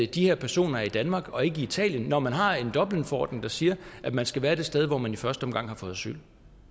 de her personer er i danmark og ikke i italien når man har en dublinforordning der siger at man skal være det sted hvor man i første omgang har fået asyl